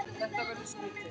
Þetta verður skrýtið.